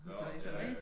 Teresa